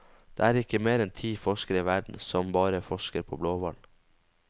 Det er ikke mer enn ti forskere i verden som bare forsker på blåhval.